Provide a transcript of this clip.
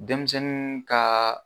Denmisɛnnin ka